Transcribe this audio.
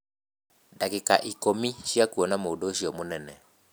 Ndagĩka ikũmii cia kuona mũndũ ũcio mũnene.